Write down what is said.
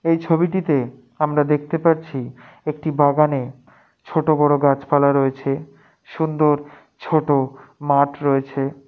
এই ছবিটিতে আমরা দেখতে পাচ্ছি একটি বাগানে ছোট বড় গাছ পালা রয়েছে সুন্দর ছোট মাঠ রয়েছে।